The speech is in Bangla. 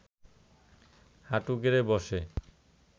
হাঁটু গেড়ে বসে